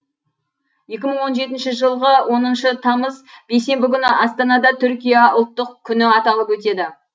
екі мың он жетінші жылғы оныншы тамыз бейсенбі күні астанада түркия ұлттық күні аталып өтеді